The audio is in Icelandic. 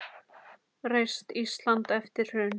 Reist Ísland eftir hrun.